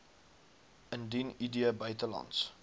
indien id buitelands